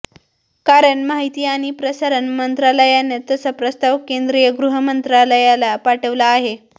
कारण माहिती आणि प्रसारण मंत्रालयानं तसा प्रस्ताव केंद्रीय गृहमंत्रालयाला पाठवला आहे